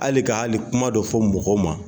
Hali ka hali kuma dɔ fɔ mɔgɔ ma